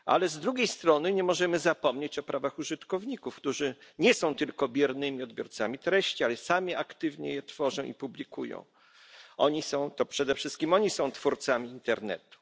Z drugiej strony nie możemy zapomnieć o prawach użytkowników, którzy nie są tylko biernymi odbiorcami treści, ale sami aktywnie je tworzą i publikują to przede wszystkim oni są twórcami internetu.